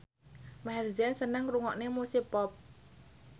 Maher Zein seneng ngrungokne musik pop